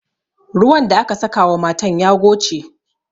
Ruwan da aka saka wa matan ya goce.